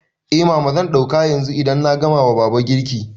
Eh mama, zan ɗauka yanzu idan na gama wa baba girki